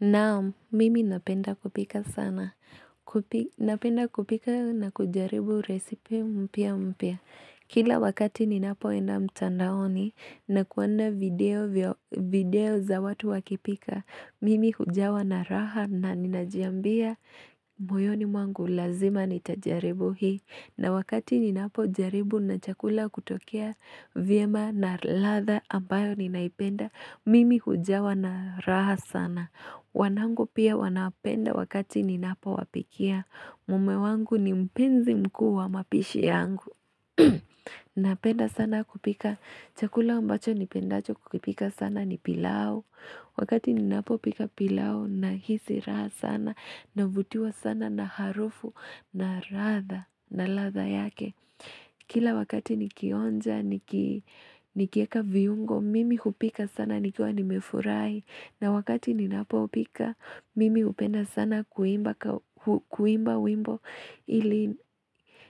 Naam, mimi napenda kupika sana. Napenda kupika na kujaribu resipe mpya mpya. Kila wakati ninapoenda mtandaoni na kuona video vya video za watu wakipika, mimi hujawa na raha na ninajiambia moyoni mwangu lazima nitajaribu hii. Na wakati ninapo jaribu na chakula kutokea vyema na radha ambayo ninaipenda mimi hujawa na raha sana. Wanangu pia wanapenda wakati ninapo wapikia. Mume wangu ni mpenzi mkuu wa mapishi yangu. Napenda sana kupika chakula ambacho nipendacho kupika sana ni pilau Wakati ninapo pika pilau nahisi raha sana Navutiwa sana na harufu na radha na radha yake Kila wakati nikionja nikieka viungo Mimi kupika sana nikiwa nimefurahi na wakati ninapo pika Mimi kupenda sana kuimba wimbo ili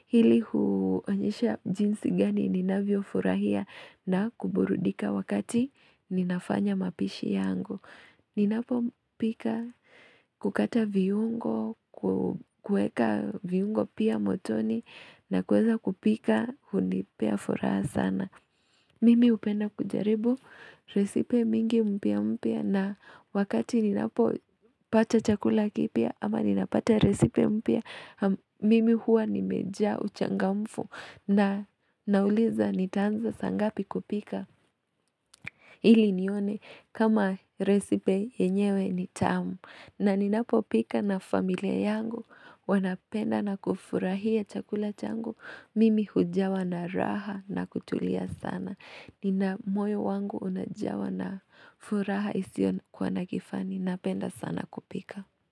Hili huonyesha jinsi gani ninavyo furahia na kuburudika wakati ninafanya mapishi yangu Ninapo pika hukata viungo, kueka viungo pia motoni na kuweza kupika hunipea furaha sana Mimi upenda kujaribu, resipe mingi mpya mpya na wakati ninapo pata chakula kipya ama ninapata resipe mpya Mimi huwa nimejaa uchangamfu na nauliza nitaanza saa ngapi kupika Hili nione kama recipe yenyewe ni tamu na ninapo pika na familia yangu wanapenda na kufurahia chakula changu Mimi hujawa na raha na kutulia sana Nina moyo wangu unajawa na furaha isiyo kuwa na kifani Napenda sana kupika.